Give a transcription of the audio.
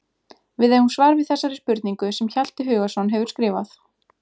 Við eigum svar við þessari spurningu sem Hjalti Hugason hefur skrifað.